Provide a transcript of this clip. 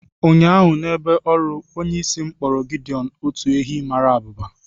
Ụnyahụ n'ebe ọrụ, onyeisi m kpọrọ Gideọn otu ehi mara abụba